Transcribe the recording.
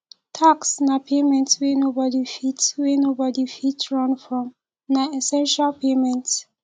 tax na payment wey nobody fit wey nobody fit run from na essential payment